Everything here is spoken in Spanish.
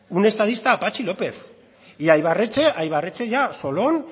un estadista a patxi lópez y a ibarretxe ya solón